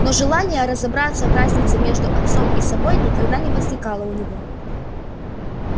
но желания разобраться в разнице между отцом и собой никогда не возникало у него